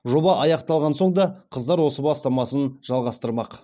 жоба аяқталған соң да қыздар осы бастамасын жалғастырмақ